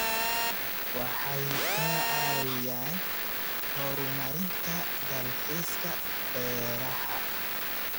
Waxay ka caawiyaan horumarinta dalxiiska beeraha.